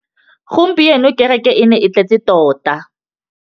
Gompieno kêrêkê e ne e tletse tota.